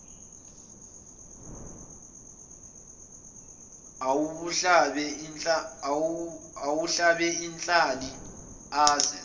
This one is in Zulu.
awuhlabe inhlali aze